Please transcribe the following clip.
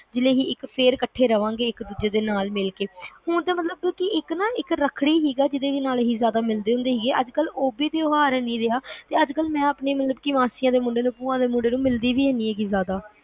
ਜਿਵੇ ਕਿ ਵੀ ਅਸੀਂ ਫੇਰ ਇਕੱਠੇ ਰਹਾਂਗੇ ਇੱਕ ਦੂਜੇ ਦੇ ਨਾਲ ਮਿਲਕੇ ਹੁਣ ਤਾ ਮਤਲਬ ਇੱਕ ਰੱਖੜੀ ਸੀਗਾ ਜੀਦੇ ਲਈ ਆਪਾ ਮਿਲਦੇ ਸੀਗੇ ਅੱਜ ਕੱਲ ਉਹ ਵੀ ਤਿਉਹਾਰ ਨਹੀਂ ਰਿਹਾ ਮੈਂ ਅੱਜ ਕੱਲ ਮਾਸੀ ਦੇ ਮੁੰਡਿਆਂ, ਭੂਆ ਦੇ ਮੁੰਡਿਆਂ ਨੂੰ ਮਿਲਦੀ ਵੀ ਮੀ ਹੈਗੀ ਜ਼ਿਆਦਾ